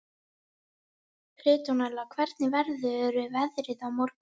Petrónella, hvernig verður veðrið á morgun?